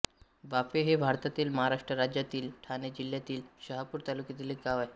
वाफे हे भारतातील महाराष्ट्र राज्यातील ठाणे जिल्ह्यातील शहापूर तालुक्यातील एक गाव आहे